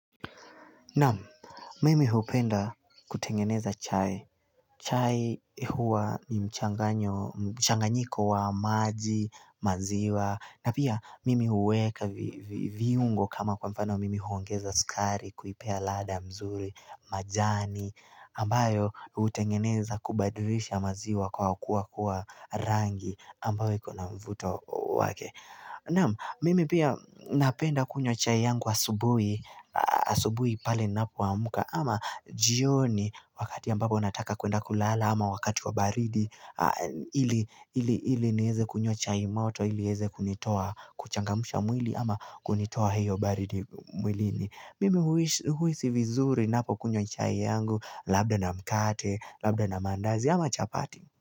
Namu, mimi hupenda kutengeneza chai. Chai huwa ni mchanganyiko wa maji, maziwa, na pia mimi huweka viungo kama kwa mfano mimi huongeza skari kuipea lada mzuri, majani, ambayo hutengeneza kubadrisha maziwa kwa kuwa rangi ambayo iko na mvuto wake. Naam mimi pia napenda kunywa chai yangu asubui pale ninapoamka ama jioni wakati ambapo nataka kuenda kulala ama wakati wa baridi ili neze kunywa chai moto ili ieze kunitoa kuchangamusha mwili ama kunitoa hiyo baridi mwilini Mimi huisi vizuri napokunywa chai yangu Labda na mkate, labda na mandazi ama chapati.